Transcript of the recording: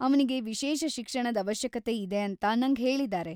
ಅವ್ನಿಗೆ ವಿಶೇಷ ಶಿಕ್ಷಣದ್ ಅವಶ್ಯಕತೆ ಇದೆ ಅಂತ ನಂಗ್ ಹೇಳಿದಾರೆ.